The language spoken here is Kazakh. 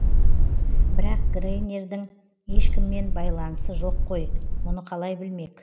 бірақ грайнердің ешкіммен байланысы жоқ қой мұны қалай білмек